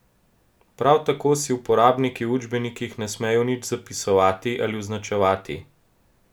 Prav tako si uporabniki v učbenikih ne smejo nič zapisovati ali označevati.